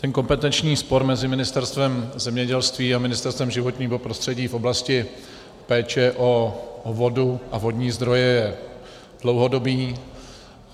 Ten kompetenční spor mezi Ministerstvem zemědělství a Ministerstvem životního prostředí v oblasti péče o vodu a vodní zdroje je dlouhodobý.